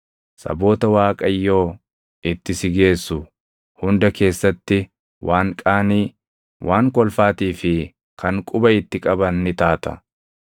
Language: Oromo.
Saboota Waaqayyo itti si geessu hunda keessatti waan qaanii, kan kolfaatii fi kan quba itti qaban ni taata.